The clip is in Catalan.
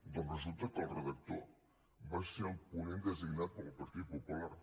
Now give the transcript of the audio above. doncs resulta que el redactor va ser el ponent de·signat pel partit popular